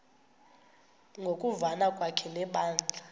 ngokuvana kwakhe nebandla